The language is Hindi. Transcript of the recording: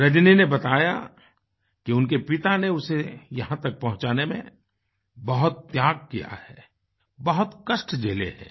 रजनी ने बताया कि उनके पिता ने उसे यहाँ तक पहुँचाने में बहुत त्याग किया है बहुत कष्ट झेले हैं